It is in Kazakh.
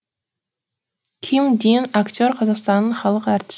ким дин актер қазақстанның халық әртіс